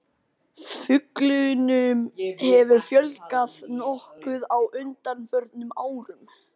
fuglunum hefur fjölgað nokkuð á undanförnum árum